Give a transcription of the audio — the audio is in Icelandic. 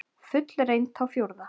Fullreynt í fjórða?